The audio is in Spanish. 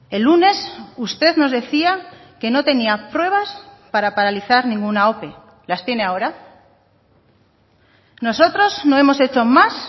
el lunes usted nos decía que no tenía pruebas para paralizar ninguna ope las tiene ahora nosotros no hemos hecho más